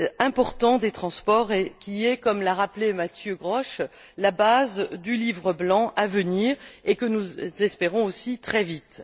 important des transports, qui est, comme l'a rappelé Mathieu Grosch, la base du Livre blanc à venir, et que nous espérons aussi très vite.